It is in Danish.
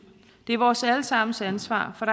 det er vores alle sammens ansvar for